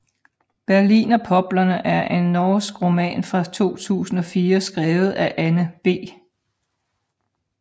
Berlinerpoplerne er en norsk roman fra 2004 skrevet af Anne B